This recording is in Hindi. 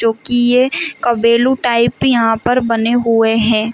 जो कि ये कबेलू टाइप यहां पर बने हुए हैं।